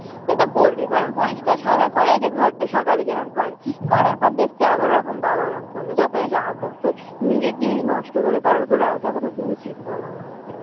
সে তো করবেই বলোনা পরিষ্কার সবে করেছে ঘরটা সকালে যেরকম করে করার পর দেখছে আবার ওরকম বাবা ওরকম করলো যতই রাগ হোক তো নিজের জিনিস নষ্ট করে কারর ওপর রাগ দেখানো কি উচিত বলনা